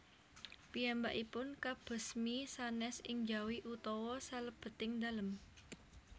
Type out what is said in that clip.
Piyambakipun kabesmi sanes ing njawi utawi salebeting dalem